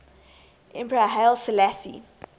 emperor haile selassie